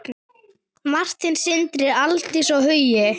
Martin, Sindri, Aldís og Hugi.